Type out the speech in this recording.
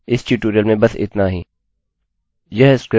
यह एक अलग ट्यूटोरियल है कृपया इसको देखें